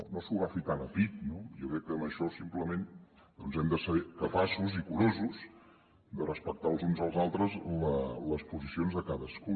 no s’ho agafi tan a pit no jo crec que en això simplement doncs hem de ser capaços i curosos de respectar els uns als altres les posicions de cadascú